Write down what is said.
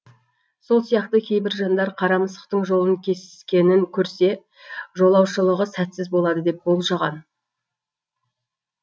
сол сияқты кейбір жандар қара мысықтың жолын кескенін көрсе жолаушылығы сәтсіз болады деп болжаған